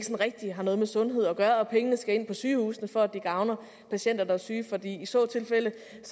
rigtig har noget med sundhed at gøre og at pengene skal ind på sygehusene for at det gavner patienter der er syge for i så tilfælde